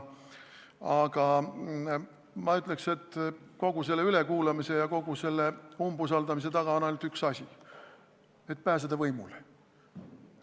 Aga ma ütleks, et kogu selle ülekuulamise ja kogu selle umbusaldamise taga on ainult üks asi: soov pääseda võimule.